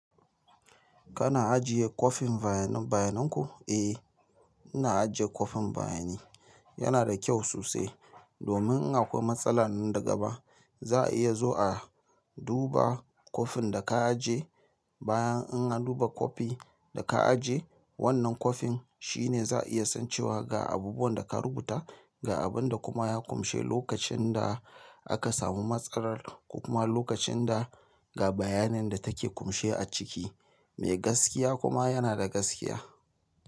Kana ajiye kwafin bayanin bayanan ku? Eh, ina ajiye kwafin bayani. Yana da kyau sosai. Domin in akwai matsala nan gaba, za a iya zuwa, a duba kwafin da ka ajje. Bayan in an duba kwafi da ka aje, wannan kwafin shi ne za a iya san cewa ga abubuwan da ka rubuta, ga abin da kuma ya kunshi lokacin da aka samu matsalar, ko kuma lokacin da ga bayanin da take kunshi a ciki. Mai gaskiya kuma yana da gaskiya.